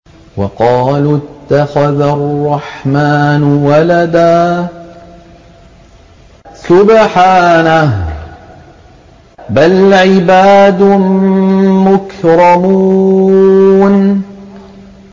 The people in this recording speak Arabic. وَقَالُوا اتَّخَذَ الرَّحْمَٰنُ وَلَدًا ۗ سُبْحَانَهُ ۚ بَلْ عِبَادٌ مُّكْرَمُونَ